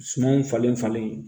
Sumanw falen falen